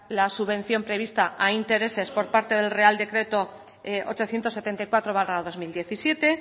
la subvención prevista a intereses por parte del real decreto ochocientos setenta y cuatro barra dos mil diecisiete